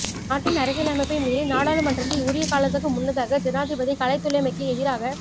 நாட்டின் அரசியலமைப்பை மீறி நாடாளுமன்றத்தை உரிய காலத்துக்கு முன்னதாக ஜனாதிபதி கலைத்துள்ளமைக்கு எதிராக